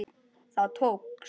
Það tókst!